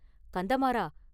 கந்தமாறா!